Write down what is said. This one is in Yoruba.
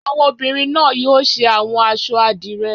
Àwọn obìnrin náà yóò ṣe àwọn aṣọ àdìrẹ́.